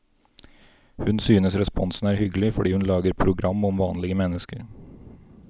Hun synes responsen er hyggelig, fordi hun lager program om vanlige mennesker.